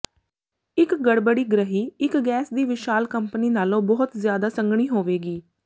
ਇਕ ਗੜਬੜੀ ਗ੍ਰਹਿ ਇਕ ਗੈਸ ਦੀ ਵਿਸ਼ਾਲ ਕੰਪਨੀ ਨਾਲੋਂ ਬਹੁਤ ਜ਼ਿਆਦਾ ਸੰਘਣੀ ਹੋਵੇਗੀ